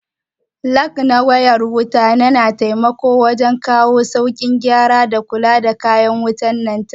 Lag na wayar wuta na taimakawa wajen kawo saukin gyara da kula da kayan wutan lantraki